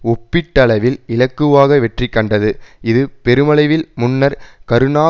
ஒப்பீட்டளவில் இலக்குவாக வெற்றி கண்டது இது பெருமளவில் முன்னர் கருணா